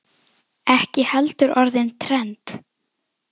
Ekki heldur orðið trend.